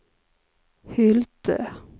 Hylte